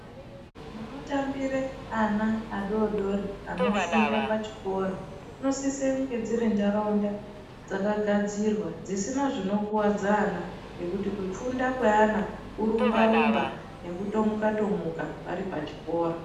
Munotambire ana adori dori anofunde pachikora dzinosise kunge dziri ntaraunda dzakagadzirwa dzisina zvinokuwadza ana, nekuti kufunda kweana kurumba rumba nekutomuka tomuka vari pachikora.